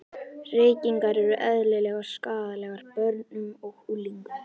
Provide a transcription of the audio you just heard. Reykingar eru eðlilegar skaðlegar börnum og unglingum.